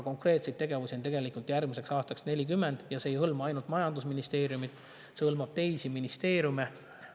Konkreetseid tegevusi on järgmiseks aastaks üle 40 ja need ei hõlma ainult majandusministeeriumi, vaid ka teisi ministeeriume.